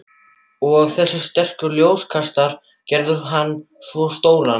Og þessir sterku ljóskastarar gerðu hann svo stóran.